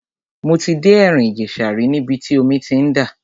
Mo ti dé ẹ̀rìn ìjẹ̀ṣà rí níbi tí omi ti ń dà.